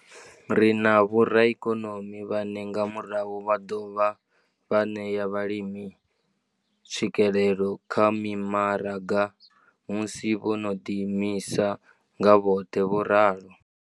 Ri na vhoraikonomi vhane nga murahu vha ḓo dovha vha ṋea vhalimi tswikelelo kha mimaraga musi vho no ḓiimisa nga vhoṱhe. vho ralo.